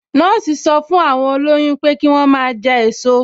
Nọ́ọ̀sì sọ fún àwọn olóyún pé kí wọ́n máa jẹ èso